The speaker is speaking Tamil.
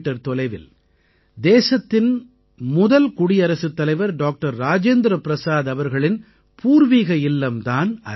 தொலைவில் தேசத்தின் முதல் குடியரசுத் தலைவர் டாக்டர் ராஜேந்திர பிரஸாத் அவர்களின் பூர்வீக இல்லம் தான் அது